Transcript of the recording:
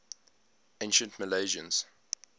ancient milesians